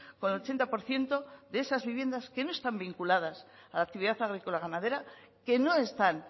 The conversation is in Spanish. con el ochenta por ciento de esas viviendas que no están vinculadas a la actividad agrícola ganadera que no están